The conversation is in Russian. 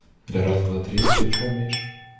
на раз-два-три ты что умеешь